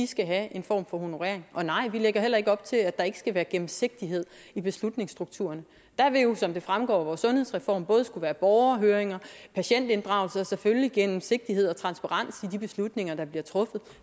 skal have en form for honorering og nej vi lægger heller ikke op til at der ikke skal være gennemsigtighed i beslutningsstrukturen der vil jo som det fremgår af vores sundhedsreform både skulle være borgerhøringer patientinddragelse og selvfølgelig gennemsigtighed og transparens i de beslutninger der bliver truffet